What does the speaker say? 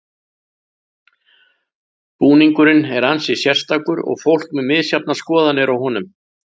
Búningurinn er ansi sérstakur og fólk með misjafnar skoðanir á honum.